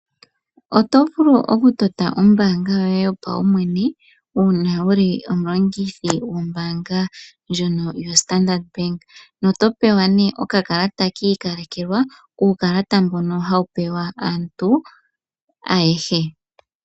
Oto vulu oku tota ombanga yoye yopaumwene uuna wuli omulongithi gombanga ndjoka yo Standard Bank, na oto pewa ne oka kalata kiikalekelwa. Uukalata mboka hawu pewa aantu ayehe.